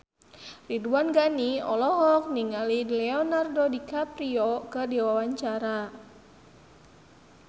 Ridwan Ghani olohok ningali Leonardo DiCaprio keur diwawancara